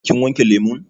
Kin wanke lemun?